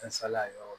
N salaya yɔrɔ